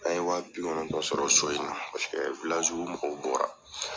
An ye wa bi kɔnɔtɔn sɔrɔ so in na paseke mɔgɔw bɔra.